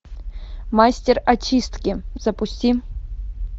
мастер очистки запусти